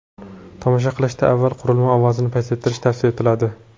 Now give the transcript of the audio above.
Tomosha qilishdan avval qurilma ovozini pasaytirish tavsiya etiladi.